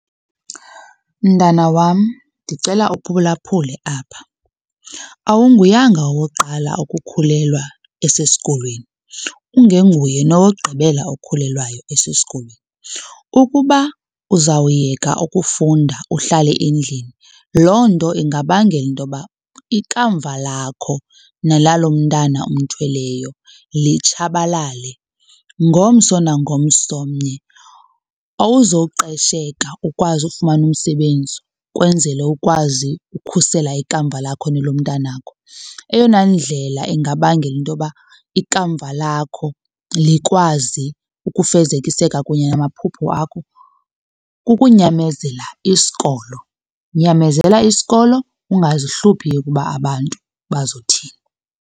Mntana wam, ndicela uphulaphule apha. Awunguyanga owokuqala ukukhulelwa esesikolweni ungenguye nowokugqibela okhulelwayo esesikolweni. Ukuba uzawuyeka ukufunda uhlale endlini, loo nto ingabangela intoba ikamva lakho nelalomntana umthweleyo litshabalale. Ngomso nangomsomnye awuzoqesheka ukwazi ukufumana umsebenzi, kwenzele ukwazi ukhusela ikamva lakho nelomntanakho. Eyona ndlela ingabangela into yoba ikamva lakho likwazi ukufezekiseka kunye namaphupho akho kukunyamezela isikolo, nyamezela isikolo ungazihluphi ukuba abantu bazothini.